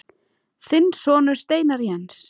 Þinn sonur, Steinar Jens.